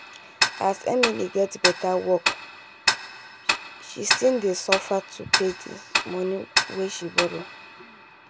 as emily get better work shshe still dey suffer to pay the money wen she borrow